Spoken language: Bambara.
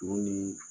U ni